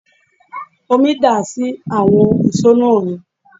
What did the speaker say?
Omi dà sí àwọn ìṣó náà ni